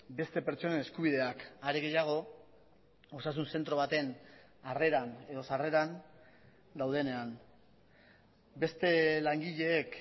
beste pertsonen eskubideak are gehiago osasun zentro baten harreran edo sarreran daudenean beste langileek